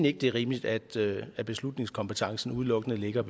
ikke det er rimeligt at at beslutningskompetencen udelukkende ligger